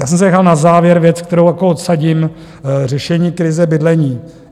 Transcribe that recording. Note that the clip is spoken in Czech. Já jsem si nechal na závěr věc, kterou jako odsadím: řešení krize bydlení.